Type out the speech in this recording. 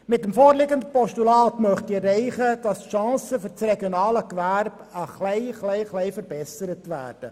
Mit dem vorliegenden Postulat möchte ich erreichen, dass die Chancen für das regionale Gewerbe ein wenig verbessert werden.